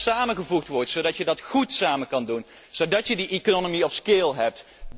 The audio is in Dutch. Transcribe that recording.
Zorg dat dit samengevoegd wordt, zodat je dat goed samen kan doen, zodat je schaaleconomie hebt.